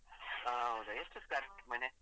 ಹಾ ಹೌದ ಎಷ್ಟು square feet ಮನೆ?